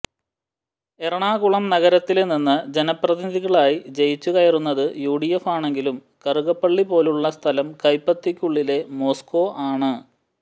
എറണാകുളം നഗരത്തില് നിന്ന് ജനപ്രതിനിധികളായി ജയിച്ചു കയറുന്നത് യുഡിഎഫ് ആണെങ്കിലും കറുകപ്പള്ളി പോലെയുള്ള സ്ഥലം കൈപ്പത്തിക്കുള്ളിലെ മോസ്കോ ആണ്